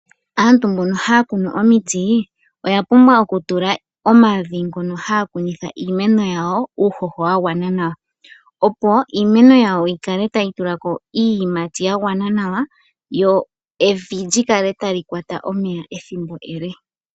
Aantu mbono haa kunu omiti , oya pumbwa oku tula omavi ngono haya kunitha iimeno yawo uuhoho wa gwana nawa. Opo iimeno yawo yi kale tayi tula ko iiyimati yagwana nawa , lyo evi lyikale tali kwata omeya ethimbo ele.